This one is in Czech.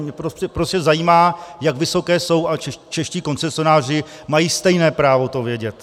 Mě prostě zajímá, jak vysoké jsou, a čeští koncesionáři mají stejné právo to vědět.